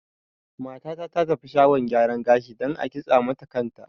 Mata ta ta tafi shagon gyara gashi dan a kintsa mata kan ta